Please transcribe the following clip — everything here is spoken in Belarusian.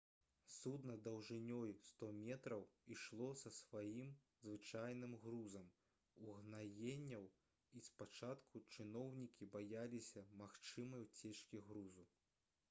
судна даўжынёй 100 метраў ішло за сваім звычайным грузам угнаенняў і спачатку чыноўнікі баяліся магчымай уцечкі грузу